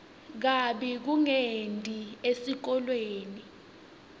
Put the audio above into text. kabi kungeti esikolweni